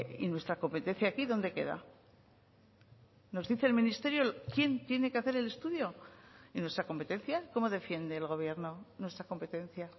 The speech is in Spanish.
y nuestra competencia aquí dónde queda nos dice el ministerio quién tiene que hacer el estudio y nuestra competencia cómo defiende el gobierno nuestra competencia